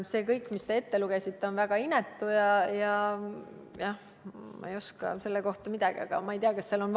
See kõik, mis te ette lugesite, on väga inetu, aga ma ei oska selle kohta midagi.